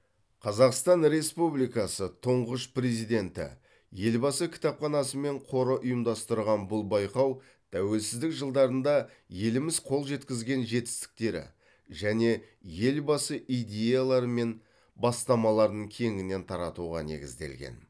қазақстан республикасы тұңғыш президенті елбасы кітапханасы мен қоры ұйымдастырған бұл байқау тәуелсіздік жылдарында еліміз қол жеткізген жетістіктері және елбасы идеялары мен бастамаларын кеңінен таратуға негізделген